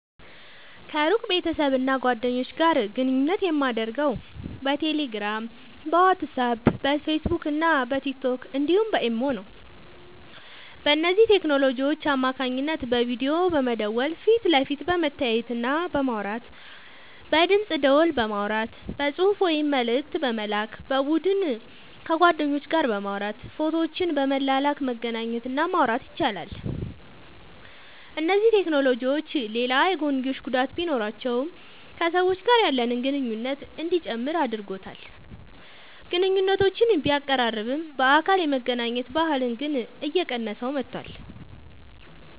ከሩቅ ቤተሰብና ጓደኞች ጋር ግንኙነት የማደርገው በቴሌግራም፣ በዋትስአፕ፣ በፌስቡክና በቲክቶክ እንዲሁም በኢሞ ነው። በእነዚህ ቴክኖሎጂዎች አማካኝነት በቪዲዮ በመደወል ፊት ለፊት በመተያየትና በማውራት፣ በድምፅ ደወል በማውራት፣ በጽሑፍ ወይም መልእክት በመላክ፣ በቡድን ከጓደኞች ጋር በማውራት ፎቶዎችን በመላላክ መገናኘት እና ማውራት ይቻላል። እነዚህ ቴክኖሎጂዎች ሌላ የጐንዮሽ ጉዳት ቢኖራቸውም ከሰዎች ጋር ያለንን ግንኙነት እንዲጨምር አድርጎታል። ግንኙነቶችን ቢያቀራርብም፣ በአካል የመገናኘት ባህልን ግን እየቀነሰው መጥቷል።